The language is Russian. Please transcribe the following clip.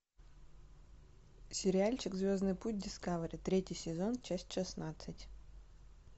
сериальчик звездный путь дискавери третий сезон часть шестнадцать